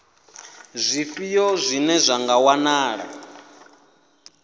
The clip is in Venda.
zwifhio zwine zwa nga wanala